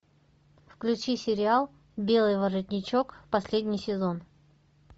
включи сериал белый воротничок последний сезон